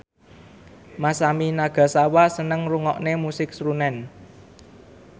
Masami Nagasawa seneng ngrungokne musik srunen